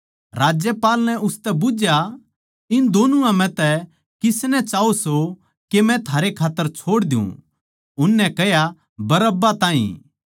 राज्यपाल नै उसतै बुझ्झया इन दोनुआ म्ह तै किसनै चाहो सो के मै थारै खात्तर छोड़ दियुँ उननै कह्या बरअब्बा ताहीं